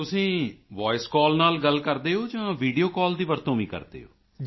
ਤੁਸੀਂ voice call ਨਾਲ ਗੱਲ ਕਰਦੇ ਹੋ ਜਾਂ ਵੀਡੀਓ ਕਾਲ ਦੀ ਵੀ ਵਰਤੋਂ ਕਰਦੇ ਹੋ